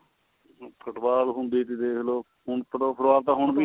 football ਹੁੰਦੀ ਸੀ ਦੇਖ ਲੋ ਹੁਣ ਹੁਣ ਵੀ ਏ